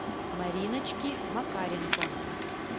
мариночки макаренко